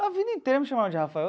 A vida inteira me chamaram de Rafael.